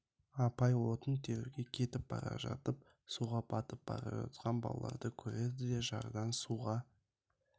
апай отын теруге кетіп бара жатып суға батып бара жатқан балаларды көреді де жардан суға